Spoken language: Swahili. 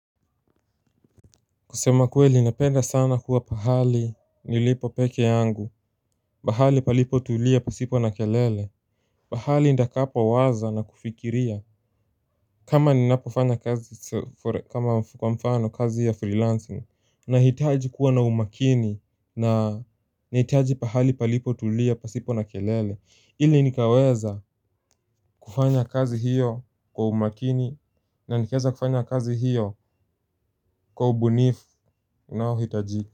Kusema kweli inapenda sana kuwa pahali nilipo peke yangu Bahali palipo tulia pasipo na kelele Bahali ndakapa waza na kufikiria. Kama ninapofanya kazi kwa mfano kazi ya freelancing nahitaji kuwa na umakini na hitaji pahali palipo tulia pasipo na kelele ili nikaweza kufanya kazi hiyo kwa umakini. Na nikieza kufanya kazi hiyo kwa ubunifu naohitaji. Kwa hivyo.